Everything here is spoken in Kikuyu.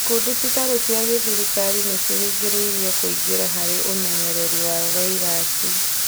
Ikundi citarĩ cia gĩthirikari nĩciringĩrĩirio kũingĩra harĩ ũmenyereri wa vairasi